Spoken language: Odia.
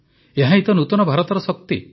ଏହାହିଁ ତ ନୂତନ ଭାରତର ଶକ୍ତି